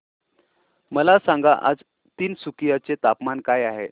मला सांगा आज तिनसुकिया चे तापमान काय आहे